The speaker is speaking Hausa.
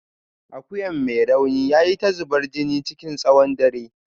Akuyan mai rauni yayi ta zubar jini chikin tsawon dare.